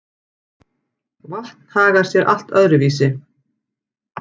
Vatn hagar sé allt öðru vísi.